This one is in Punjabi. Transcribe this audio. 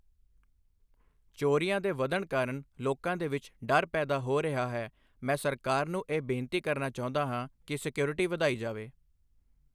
ਚੋਰੀਆਂ ਦੇ ਵੱਧਣ ਕਾਰਨ ਲੋਕਾਂ ਦੇ ਵਿੱਚ ਡਰ ਪੈਦਾ ਹੋ ਰਿਹਾ ਹੈ ਮੈਂ ਸਰਕਾਰ ਨੂੰ ਇਹ ਬੇਨਤੀ ਕਰਨਾ ਚਾਹੁੰਦਾ ਹਾਂ ਕਿ ਸਿਕਿਉਰਟੀ ਵਧਾਈ ਜਾਵੇ।